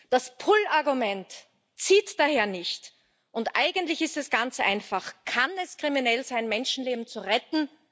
Das Pull Argument zieht daher nicht, und eigentlich ist es ganz einfach Kann es kriminell sein, Menschenleben zu retten?